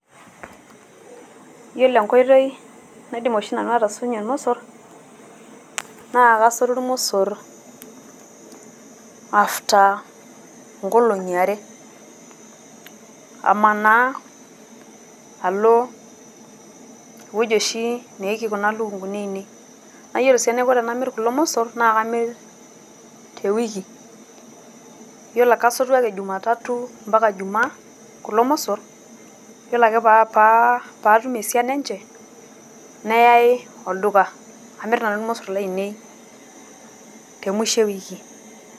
Yiolo enkoitoi naidim oshi nanu atasotie ilmosor. Naa kasotu ilmosor after nkolong`i are. Amanaa alo ewueji oshi neiki kuna lukunguni ainei. Naa yiolo sii enaiko tenamirr kulo mosorr naa kamir te wiki. Kasotu ake jumatatu mpaka ijumaa kulo mossor. Yiolo ake paa pa atum esiana enye neyai olduka namirr nanu ilmosorr lainei te musho ewiki.